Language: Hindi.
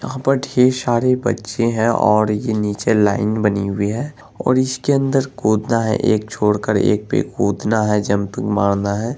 यहाँ पर ढेर सारे बच्चे हैं| और ये नीचे लाइन बनी हुई है और इसके अंदर कूदना है एक छोड़ कर एक पे कूदना है जंपिंग मारना है ।